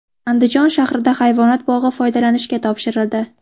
Andijon shahrida hayvonot bog‘i foydalanishga topshirildi .